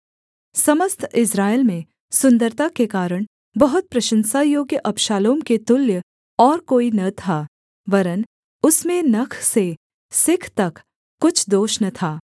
समस्त इस्राएल में सुन्दरता के कारण बहुत प्रशंसा योग्य अबशालोम के तुल्य और कोई न था वरन् उसमें नख से सिख तक कुछ दोष न था